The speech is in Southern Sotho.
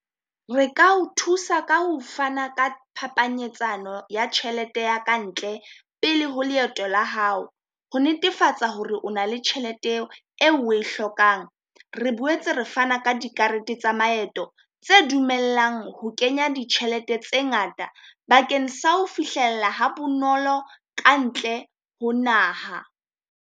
Re ka o thusa ka ho fana ka phapanyetsano ya tjhelete ya ka ntle pele ho leeto la hao, ho netefatsa hore o na le tjhelete eo o e hlokang. Re boetse re fana ka dikarete tsa maeto tse dumellang ho kenya ditjhelete tse ngata bakeng sa ho fihlella ha bonolo ka ntle ho naha.